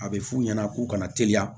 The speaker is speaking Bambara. A bɛ f'u ɲɛna k'u kana teliya